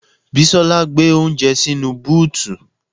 Bisola gbé oúnjẹ sínú búùtù